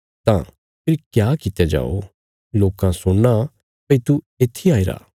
तां फेरी क्या कित्या जाओ लोकां सुणना भई तू येत्थी आईरा